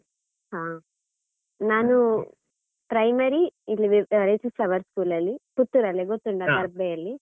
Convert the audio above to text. ಹ, ನಾನೂ primary ಇಲ್ಲಿ work school ಅಲ್ಲಿ, ಪುತ್ತೂರು ಅಲ್ಲೇ ಗೊತ್ತುಂಟಲ ದರ್ಬೆಯಲ್ಲಿ.